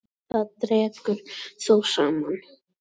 Þar dregur þó saman.